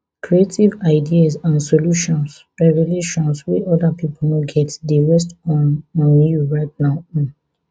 creative ideas and solutions revelations wey oda pipo no get dey rest on on you right now um